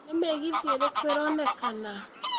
nĩ mĩgithi ĩrikũ ĩronekana